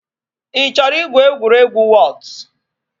Ị chọrọ igwu egwuregwu wọọt?